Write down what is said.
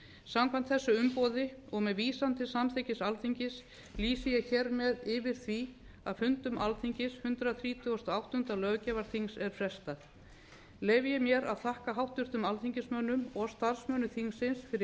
samkvæmt þessu umboði og með vísan til samþykkis alþingis f lýsi ég hér með yfir því að fundum alþingis hundrað þrítugasta og áttunda löggjafarþings er frestað leyfi ég mér að þakka háttvirtum alþingismönnum og starfsmönnum þingsins fyrir